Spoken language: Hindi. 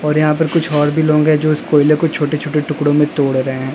और यहां पर कुछ और भी लोग जो इस कोयले को छोटे छोटे टुकड़ों में तोड़ रहे हैं।